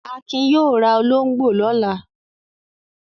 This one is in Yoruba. Akin yóò ra olóńgbò lọ́la.